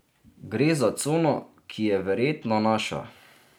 Gre za cono, ki je verjetno naša.